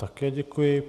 Také děkuji.